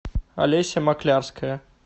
олеся маклявская